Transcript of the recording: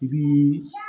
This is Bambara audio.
I bii